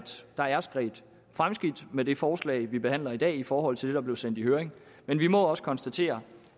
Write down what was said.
der er sket fremskridt med det forslag vi behandler i dag i forhold til der blev sendt i høring men vi må også konstatere